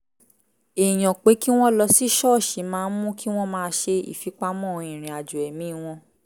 èèyàn pé kí wọ́n lọ sí ṣọ́ọ̀ṣì máa ń mú kí wọ́n máa ṣe ìfipamọ́ ìrìn-àjọ̀ ẹ̀mí wọn